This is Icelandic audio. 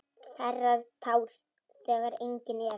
Þerrar tár þegar engin eru.